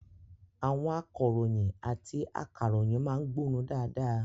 Àwọn akọ̀ròyìn àti akàròyìn má ń gbónu dáadáa